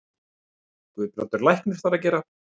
Guðbrandur læknir þar að gera.